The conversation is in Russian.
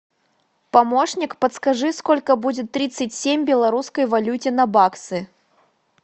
помощник подскажи сколько будет тридцать семь в белорусской валюте на баксы